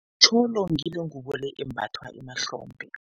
Itjholo ngile ngubo embathwa emahlombe.